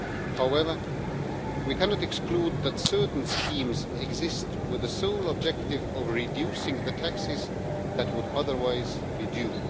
however, we cannot exclude that certain schemes exist with the sole objective of reducing the taxes that would otherwise be due.